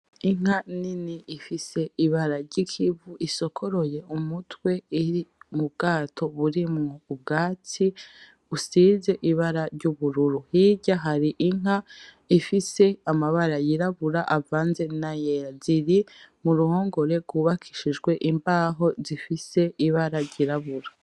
Inka nini ifise ibara ryikivu isokoroye umutwe iri mubwato burimwo ubwatsi busize ibara ryubururu. Hirya hari inka ifise amabara yirabura avanze nayera ziri muruhongore gwubakishijwe imbaho zifise ibara ryirabura.